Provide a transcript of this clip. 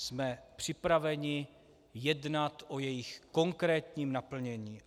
Jsme připraveni jednat o jejich konkrétním naplnění.